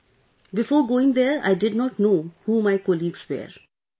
Yes Sir; before going there I did not know who my colleagues were